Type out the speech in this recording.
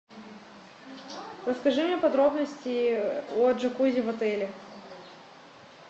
расскажи мне подробности о джакузи в отеле